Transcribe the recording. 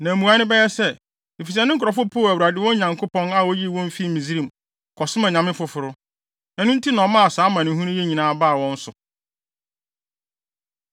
Na mmuae bɛyɛ sɛ, ‘Efisɛ ne nkurɔfo poo Awurade, wɔn agyanom Nyankopɔn a oyii wɔn fii Misraim, kɔsom anyame foforo. Ɛno nti, na ɔmaa saa amanehunu yi nyinaa baa wɔn so.’ ”